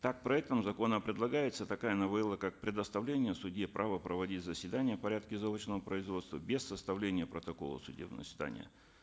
так проектом закона предлагается такая новелла как предоставление судье права проводить заседание в порядке заочного производства без составления протокола судебного заседания